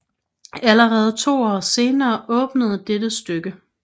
Allerede to år senere åbnede dette stykke